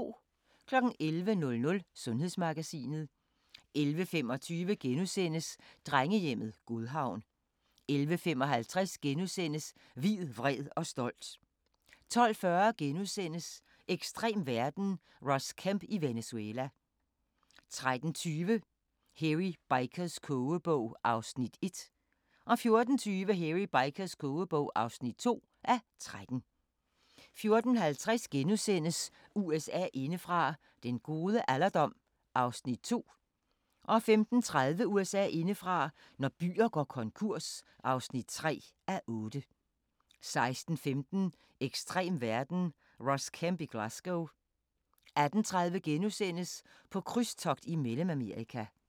11:00: Sundhedsmagasinet 11:25: Drengehjemmet Godhavn * 11:55: Hvid, vred og stolt * 12:40: Ekstrem verden – Ross Kemp i Venezuela * 13:20: Hairy Bikers' kogebog (1:13) 14:20: Hairy Bikers kogebog (2:13) 14:50: USA indefra: Den gode alderdom (2:8)* 15:30: USA indefra: Når byer går konkurs (3:8) 16:15: Ekstrem verden - Ross Kemp i Glasgow 18:30: På krydstogt i Mellemamerika *